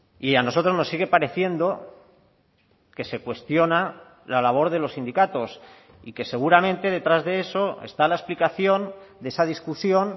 y a nosotros nos sigue pareciendo que se cuestiona la labor de los sindicatos y que seguramente detrás de eso está la explicación de esa discusión